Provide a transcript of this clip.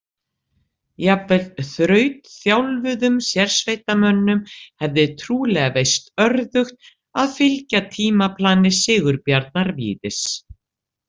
Jafnvel þrautþjálfuðum sérsveitarmönnum hefði trúlega veist örðugt að fylgja tímaplani Sigurbjarnar Víðis.